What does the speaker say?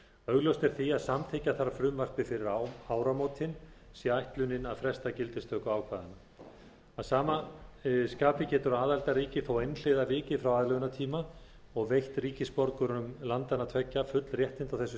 augljóst er því að samþykkja þarf frumvarpið fyrir áramótin sé ætlunin að fresta gildistöku ákvæðanna að sama skapi getur aðildarríki þó einhliða vikið frá aðlögunartíma og veitt ríkisborgurum landanna tveggja full réttindi á þessu